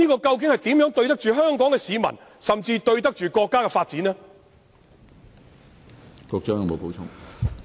這怎對得起香港市民，甚至國家的發展呢？